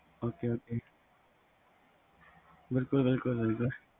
ok ok ਬਿਲਕੁਲ ਬਿਲਕੁਲ